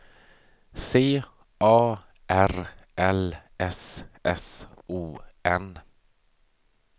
C A R L S S O N